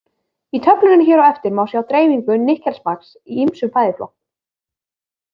Í töflunni hér á eftir má sjá dreifingu nikkelmagns í ýmsum fæðuflokkum.